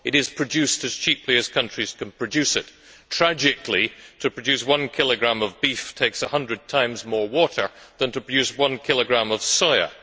It is produced as cheaply as countries can produce it. Tragically, to produce one kilogram of beef takes 100 times more water than to produce one kilogram of soya.